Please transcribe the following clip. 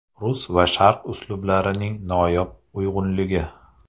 Rus va sharq uslublarining noyob uyg‘unligi.